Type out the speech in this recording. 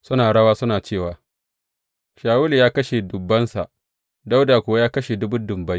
Suna rawa suna cewa, Shawulu ya kashe dubbansa, Dawuda kuwa ya kashe dubun dubbai.